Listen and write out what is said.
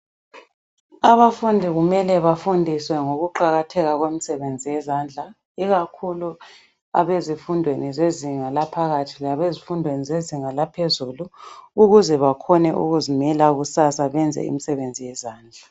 Abafundi kumele bafundiswe ngokuqakatheka komsebenzi yezandla ikakhulu abezifundweni zezinga laphakathi labezifundweni zezinga laphezulu ukuze bakhone ukuzimela kusasa benze imisebenzi yezandla.